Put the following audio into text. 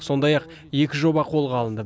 сондай ақ екі жоба қолға алынды